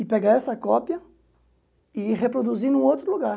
e pegar essa cópia e reproduzir em outro lugar.